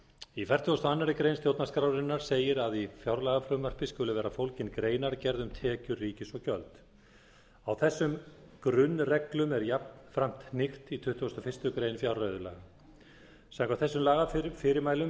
í fertugustu og aðra grein stjórnarskrárinnar segir að í fjárlagafrumvarpi skuli vera fólgin greinargerð um tekjur ríkisins og gjöld á þessum grunnreglum er jafnframt hnykkt í tuttugasta og fyrstu grein fjárreiðulaga samkvæmt þessum lagafyrirmælum